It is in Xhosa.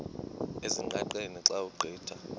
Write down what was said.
ezingqaqeni xa ugqitha